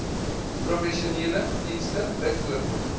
professionele dienste bv